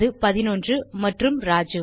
அது 11 மற்றும் ராஜு